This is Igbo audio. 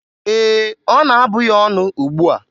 Ee, ọ na-abụ ya ọnụ ugbua.